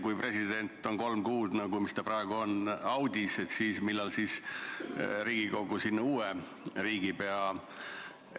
Kui president on kolm kuud, nagu see praegu on, audis, et millal siis Riigikogu uue riigipea?